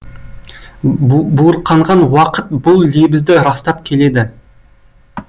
буырқанған уақыт бұл лебізді растап келеді